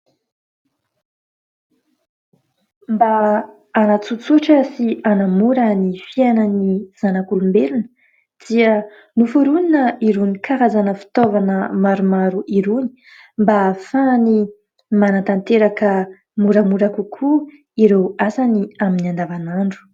Mba hanatsotsotra sy hanamora ny fiainan'ny zanak'olombelona dia noforonina irony karazana fitaovana maromaro irony mba ahafahany manantanteraka moramora kokoa ireo asany amin'ny andavan'andro.